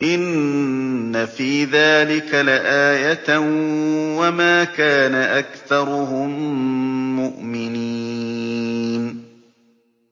إِنَّ فِي ذَٰلِكَ لَآيَةً ۖ وَمَا كَانَ أَكْثَرُهُم مُّؤْمِنِينَ